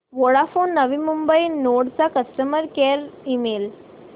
Vodafone Navi Mumbai node चा customer care email